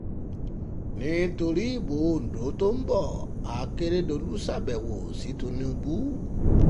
nítorí ìbò ondo tó ń bo àkèrèdòlù ṣàbẹ̀wò sí tìǹbù